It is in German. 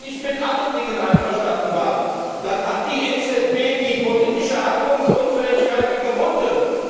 Auch wenn wir nicht mit allen Dingen einverstanden waren, hat die EZB die politische Handlungsunfähigkeit überwunden.